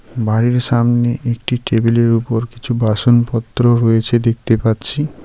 বাড়ির সামনে একটি টেবিলের উপর কিছু বাসনপত্র রয়েছে দেখতে পাচ্ছি.